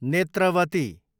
Netravati